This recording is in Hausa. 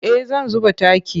Eh zan zuba taki.